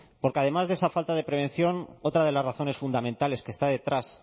porque además de esa falta de prevención otra de las razones fundamentales que está detrás